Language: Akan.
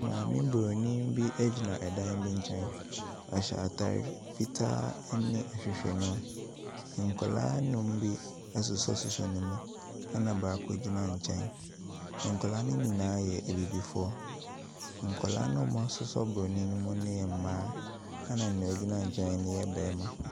Maame bronin bi ɛgyina dan bi nkyɛn, nɛ ɔhyɛ ataade fitaa ɛna ahwehwɛniwa. Nkwadaa nnum bi asosɔsosɔ ne mu, ɛna baako bi agyina nkyɛn. Nkwadaa no nyinaa yɛ abibifoɔ. Nkwadaa no a wɔasosɔ bronin no mu no yɛ mmaa, ɛna deɛ ɔgyina nkyɛn no yɛ barima.